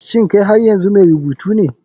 Shin kai har yanzu mai rubutu ne?